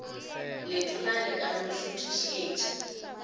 letona le ka no šuthišetša